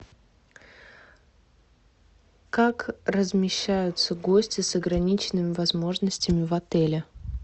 как размещаются гости с ограниченными возможностями в отеле